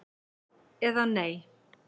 eða Nei?